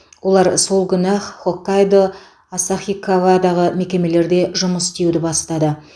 олар сол күні ақ хоккайдо асахикавадағы мекемелерде жұмыс істеуді бастады